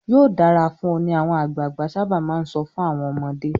"Yóò dára fún ọ" ni àwọn àgbàgbà sábà máa ń sọ fún àwọn ọmọdé.